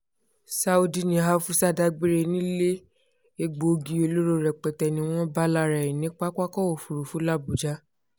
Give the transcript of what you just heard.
saudi ní afusa dágbére nílé egbòogi olóró rẹpẹtẹ ni wọ́n bá lára ẹ̀ ní pápákọ̀ òfurufú làbújá